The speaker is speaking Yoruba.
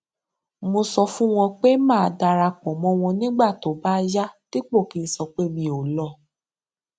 mo sọ fún wọn pé màá dara pọ mọ wọn nígbà tó bá yá dípò kí n sọpé mi ò lọ